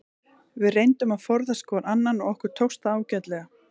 Við reyndum að forðast hvor annan og okkur tókst það ágætlega.